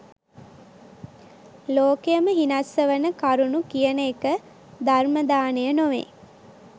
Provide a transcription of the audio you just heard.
ලෝකයම හිනස්සවන කරුණු කියන එක ධර්ම දානය නොවේ.